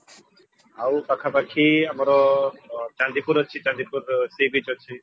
ଆଉ ପାଖାପାଖି ଆମର ଚାନ୍ଦିପୁର ଅଛି ଚାନ୍ଦିପୁର sea beach ଅଛି